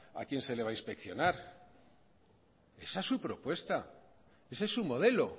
a quién se le va a inspeccionar esa es su propuesta ese es su modelo